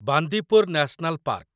Bandipur national park